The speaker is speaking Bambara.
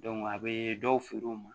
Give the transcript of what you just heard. a bɛ dɔw feere u ma